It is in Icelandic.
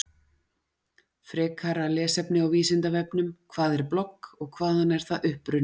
Frekara lesefni á Vísindavefnum: Hvað er blogg og hvaðan er það upprunnið?